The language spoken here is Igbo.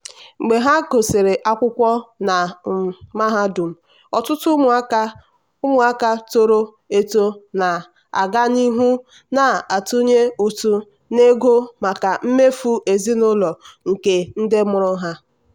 mgbe ha gụsịrị akwụkwọ na um mahadum ọtụtụ ụmụaka ụmụaka toro eto na-aga n'ihu na-atụnye ụtụ n'ego maka mmefu ezinụlọ nke ndị mụrụ ha.